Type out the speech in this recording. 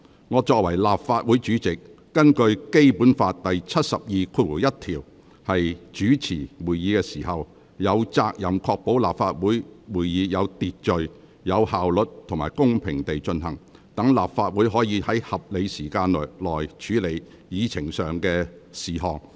我作為立法會主席，根據《基本法》第七十二條第一項主持會議時，有責任確保立法會會議有秩序、有效率及公平地進行，讓立法會可以在合理時間內，完成處理議程上的事項。